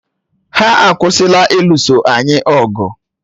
Ha akwụsịla ịlụso anyị ọgụ